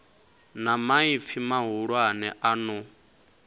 na maipfi mahulwane a no